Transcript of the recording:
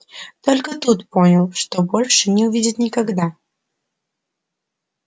только тут понял что больше не увидит никогда